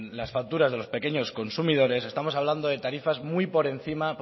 las facturas de los pequeños consumidores estamos hablando